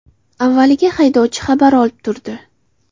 Avvaliga haydovchi xabar olib turdi.